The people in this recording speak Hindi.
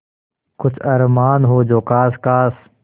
कुछ अरमान हो जो ख़ास ख़ास